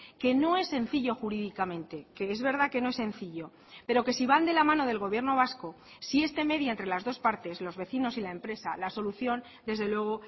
que no es sencillo jurídicamente que es verdad que no es sencillo pero que si van de la mano del gobierno vasco si este media entre las dos partes los vecinos y la empresa la solución desde luego